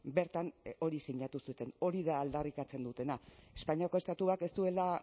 bertan hori sinatu zuten hori da aldarrikatzen dutena espainiako estatuak ez duela